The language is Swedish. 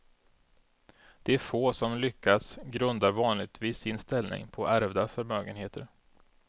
De få som lyckats grundar vanligtvis sin ställning på ärvda förmögenheter.